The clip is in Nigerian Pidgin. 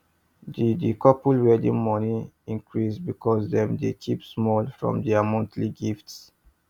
the the couple wedding money increase because dem dey keep small from their monthly gifts